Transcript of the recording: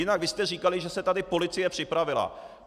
Jinak vy jste říkali, že se tady policie připravila.